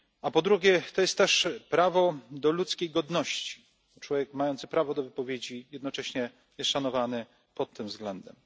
Po drugie, jest to też prawo do ludzkiej godności, gdyż człowiek mający prawo wypowiedzi jest jednocześnie szanowany i pod tym względem.